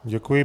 Děkuji.